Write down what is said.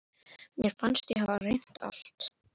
Mér fannst ég hafa reynt allt.